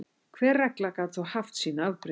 Hver regla gat þó haft sín afbrigði.